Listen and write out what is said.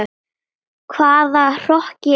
Hvaða hroki er þetta?